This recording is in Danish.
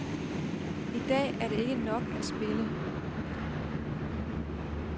I dag er det ikke nok at spille.